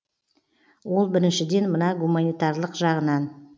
ол біріншіден мына гуманитарлық жағынан